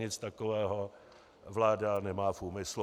Nic takového vláda nemá v úmyslu.